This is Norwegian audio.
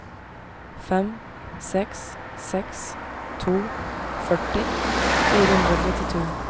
fem seks seks to førti fire hundre og trettito